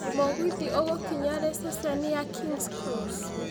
mũgithi ũgũkinya riĩ ceceni ya kings cross